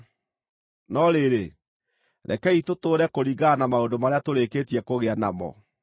No rĩrĩ, rekei tũtũũre kũringana na maũndũ marĩa tũrĩkĩtie kũgĩa namo.